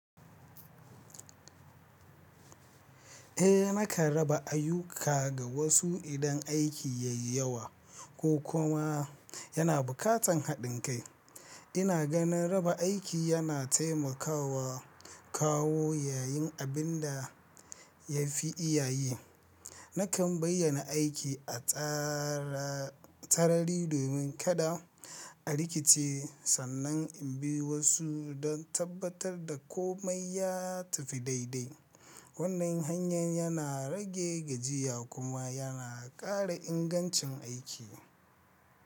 Eh nakan raba ayyuka ga wasu idan aiki yayi yawa ko kuma yana buƙatar haɗin kai. Ina ganin raba aiki yana taimakawa kawo yayin abin da ya fi iyaye. Nakan bayyana aiki a sarari domin kada a rikice sannan in bi wasu don tabbatar da komai ya tafi daidai. Wannan hanyar yana rage gajiya kuma yana ƙara ingancin aiki.